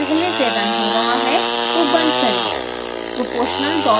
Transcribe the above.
अगर scilab पहले से रन हो रहा है तो बंद करें